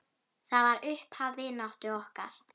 Það var upphaf vináttu okkar.